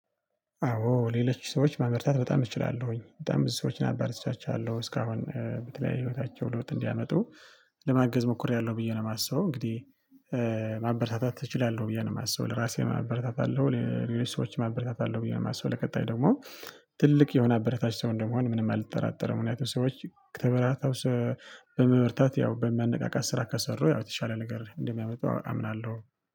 አዎ ሌሎች ሰዎች ማበርታት በጣም እችላለሁኝ በጣም ብዙ ሰዎችን አበረታችቻለሁኝ እስካሁን በተለያየ ህይወታቸው ለውጥ እንዲያመጡ ለማገዝ ሞክሬያለሁ ብዬ ነው የማስበው። እንግዲህ ማበረታታት እችላለሁ ብዬ ነው የማስበው ለራሴ ማበረታታለሁ ለሌሎች ሰዎች ማበረታታለሁ ብዬ ነው ማሰው። ለቀጣይ ደግሞ ትልቅ የሆነ አበረታች ሰው እንደመሆን ምንም አልጠራጠረም። ምክንያቱም ሰዎች ተበራታው በመበርታት ያው በመነቃቃት ስራ ከሰሩ ያው የተሻለ ነገር እንደሚያመጣው አምናለሁ